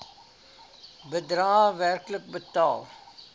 bedrae werklik betaal